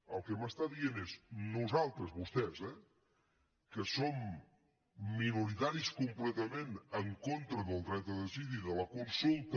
el que m’està dient és nosaltres vostès eh que som minoritaris completament en contra del dret a decidir de la consulta